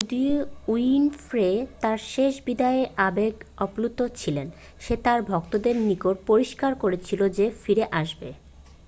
যদিও উইনফ্রে তার শেষ বিদায়ে আবেগ আপ্লুত ছিল সে তার ভক্তদের নিকট পরিস্কার করেছিল যে ফিরে আসবে